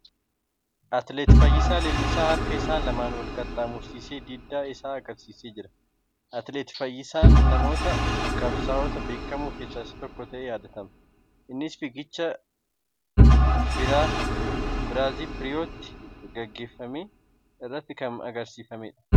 Atileet Fayyisaa Leellisaa harka isaa lamaan wal qaxxaamursee diddaa isaa agarsiisaa jira. Atileet Fayyisaa namoota qabsaa'ota beekamoo keessa isa tokko ta'ee yaadatama. Innis fiigicha Biraazip Riyootti gaggeeffame irrattin kan agarsiisedha.